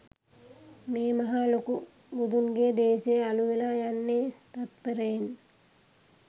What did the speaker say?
මේ මහා ලොකු බුදුන්ගේ දේශය අළු වෙලා යන්නේ තත්පරයෙන්